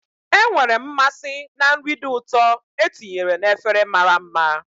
Enwere m mmasị na nri dị ụtọ e tinyere na efere mara mma.